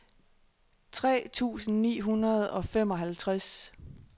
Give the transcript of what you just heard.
tres tusind ni hundrede og femoghalvtreds